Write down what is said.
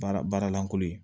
Baara baara lankolon ye